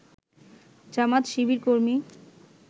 জামায়াত-শিবিরকর্মী